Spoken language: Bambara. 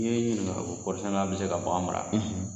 N kɔrɔri sɛnɛ bɛ se ka bɔ anw bara